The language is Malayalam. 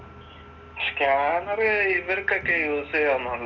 സ്‌ക്യാനർ ഇവർക്കൊക്കെ യൂസ് ചെയ്യാനൊള്ളു